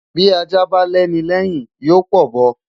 Bí Ajá bá lẹ́ni lẹ́yìn yóò p'ọ̀bọ.